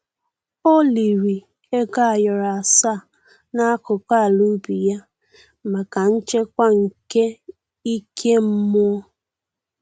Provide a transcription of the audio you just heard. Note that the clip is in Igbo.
O liri ego ayoro asaa n'akụkụ ala ubi ya maka nchekwa nke ike mmụọ